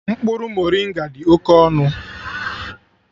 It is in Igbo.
Mkpụrụ moringa dị oke ọnụ